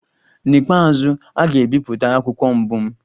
N'ikpeazụ, a ga-ebipụta akwụkwọ mbụ m.